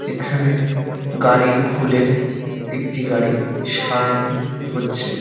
এখানে গাড়ি খুলে একটি গাড়ি সারানো হচ্ছে।